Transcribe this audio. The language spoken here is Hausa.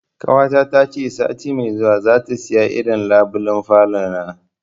Ƙawata ta ce sati mai zuwa za ta saya irin labulen falona